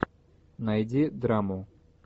найди драму